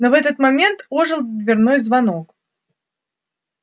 но в этот момент ожил дверной звонок